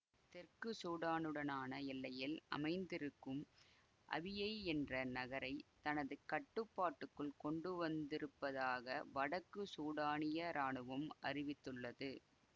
தெற்கு சூடானுடனான எல்லையில் அமைந்திருக்கும் அபியெய் என்ற நகரை தந தனது கட்டுப்பாட்டுக்குள் கொண்டுவந்திருப்பதாக வடக்கு சூடானிய இராணுவம் அறிவித்துள்ளது